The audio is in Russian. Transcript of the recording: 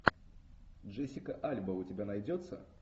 джессика альба у тебя найдется